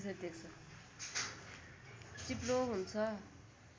चिप्लो हुन्छ